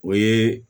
O ye